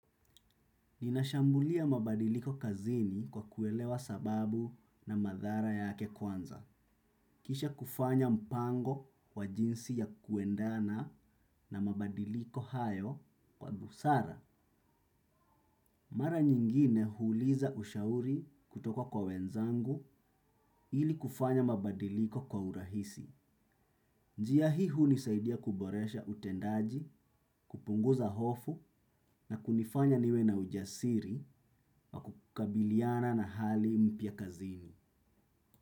Ninashambulia mabadiliko kazini kwa kuelewa sababu na madhara yake kwanza. Kisha kufanya mpango wa jinsi ya kuendana na mabadiliko hayo kwa dhusara. Mara nyingine huuliza ushauri kutoko kwa wenzangu ili kufanya mabadiliko kwa urahisi. Njia hii hunisaidia kuboresha utendaji kupunguza hofu na kunifanya niwe na ujasiri wa kukabiliana na hali mpya kazini.